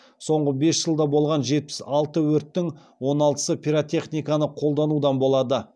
соңғы бес жылда болған жетпіс алты өрттің он алтысы пиротехниканы қолданудан болды